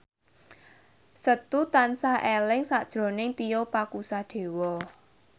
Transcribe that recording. Setu tansah eling sakjroning Tio Pakusadewo